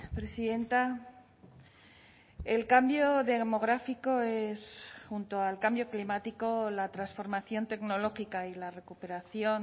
presidenta el cambio demográfico es junto al cambio climático la transformación tecnológica y la recuperación